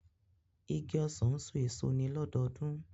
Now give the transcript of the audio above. Igi ọsan n so eso ni lọdọọdun.